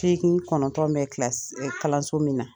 kɔnɔntɔn bɛ kilasi kalanso min na.